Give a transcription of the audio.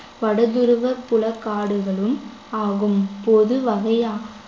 வடதுருவ புல காடுகளும் ஆகும் பொது வகையா